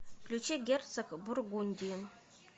включи герцог бургундии